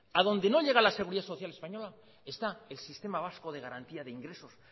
a donde no llega la seguridad social española está el sistema vasco de garantía de ingresos